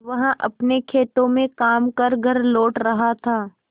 वह अपने खेतों में काम कर घर लौट रहा था